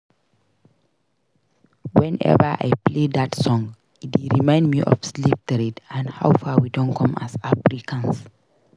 Whenever I play dat song e dey remind me of slave trade and how far we don come as Africans